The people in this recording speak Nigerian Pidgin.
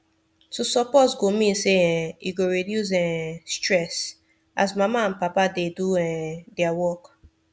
to support go mean say um e go reduce um stress as mama and papa dey do um their work